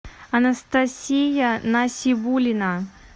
анастасия насибуллина